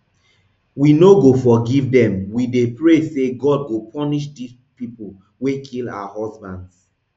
we no go forgive dem we dey pray say god go punish di people wey kill our husbands